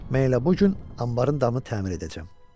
Mən elə bu gün anbarın damını təmir edəcəm.